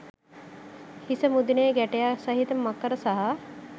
හිස මුදුනේ ගැටයක් සහිත මකර සහ